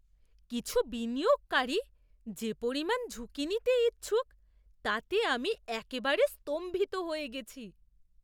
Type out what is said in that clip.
কিছু বিনিয়োগকারী যে পরিমাণ ঝুঁকি নিতে ইচ্ছুক তাতে আমি একেবারে স্তম্ভিত হয়ে গেছি।